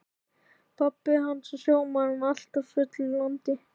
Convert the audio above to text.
Pabbi hans var sjómaður en alltaf fullur í landi.